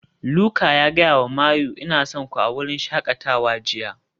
Luka ya gaya wa Mayu "Ina son ku" a wurin shakatawa jiya